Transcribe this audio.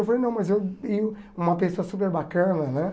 Eu falei, não, mas eu vi uma pessoa super bacana, né?